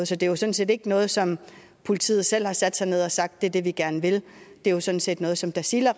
så det er sådan set ikke noget som politiet selv har sat sig ned og sagt er det de gerne vil det er sådan set noget som tasiilaq